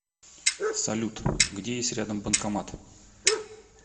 салют где есть рядом банкомат